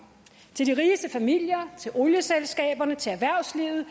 til de rigeste familier til olieselskaberne til erhvervslivet